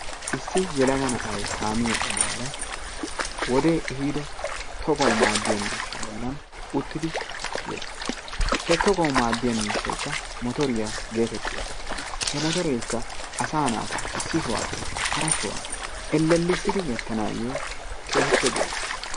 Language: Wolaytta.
Issi yelaga na'ayi kaamiya ogiyara wodee ehiido togawu maaddiya miishsha bollan uttidi yes. He togawu maaddiya miishshaykka motoriya geetettiyagaa. He motoreekka asaa maata issi sohuwappe hara sohuwa ellellissidi gattanaayyo keehippe go'es.